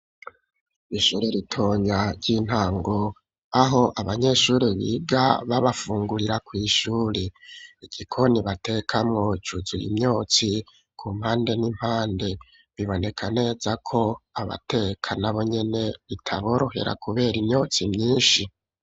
Ishure ritonya ry'intango aho abanyeshuri biga babafungurira kw'ishuri igikoni batekamwo cuzuye imyotsi ku mpande n'impande biboneka neza ko abateka nabonyene bitaborohera kubera imyotsi myishi.